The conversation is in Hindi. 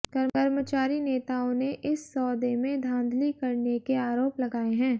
कर्मचारी नेताओं ने इस सौदे में धांधली करने के आरोप लगाए हैं